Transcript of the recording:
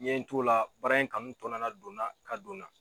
N ye n t'o la baara in kanu tɔ na na donna ka don na